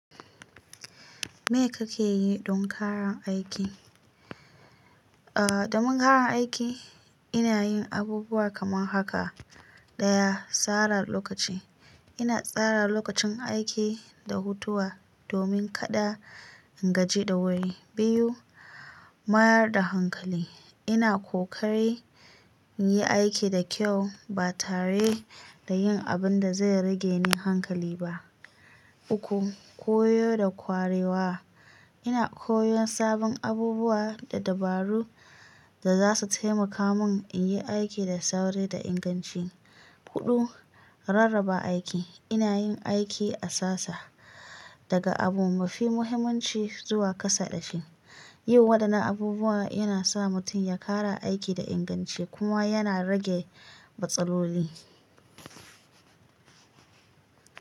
Me kake yi don karan aiki? Ah, domin karan aiki ina yin abubuwa kaman haka. Daya, tsara lokaci. Ina tsara lokacin aiki, da hutawa domin kada in gaji da wuri. Biyu, mayar da hankali. Ina kokari in yi aiki da kyau, ba tare da yin abun da zai rage min hankali ba. Uku, koyo da kwarewa. Ina koyon sabon abubuwa, da dabaru da za su taimaka mun, in yi aiki da sauri da inganci. Hudu, rarraba aiki. Ina yin aiki a sasa, daga abu mafi muhimmanci zuwa kasa ɗafi. Yin waɗannan abubuwan yana sa mutum ya kara aiki da inganci, kuma yana rage matsaloli.